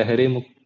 ലഹരി മുക്ത